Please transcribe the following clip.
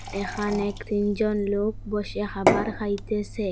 এখানেক তিনজন লোক বসে হাবার খাইতেসে।